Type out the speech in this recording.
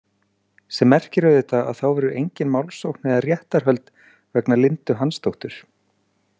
Sem merkir auðvitað að þá verður engin málsókn eða réttarhöld vegna Lindu Hansdóttur.